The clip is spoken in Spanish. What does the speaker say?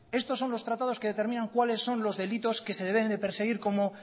estos son los tratados que determinan cuáles son los delitos que se debieran de perseguir como